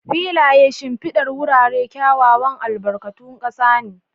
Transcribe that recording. Filayen shimfidar wurare kyawawan albarkatun ƙasa ne.